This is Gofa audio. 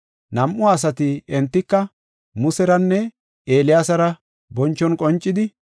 Nam7u asati, entika Museranne Eeliyaasara bonchon qoncidi,